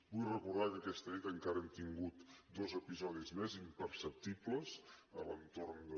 vull recordar que aquesta nit encara hem tingut dos episodis més imperceptibles a l’entorn de